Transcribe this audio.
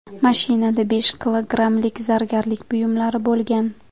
Mashinada besh kilogrammlik zargarlik buyumlari bo‘lgan.